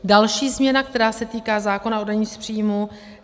Další změna, která se týká zákona o dani z příjmu.